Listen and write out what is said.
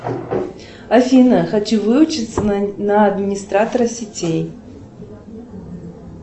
афина хочу выучиться на администратора сетей